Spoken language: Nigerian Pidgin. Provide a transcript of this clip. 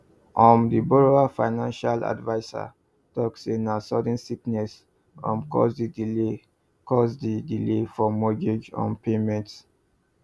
um the borrower financial adviser talk say na sudden sickness um cause the delay cause the delay for mortgage um payment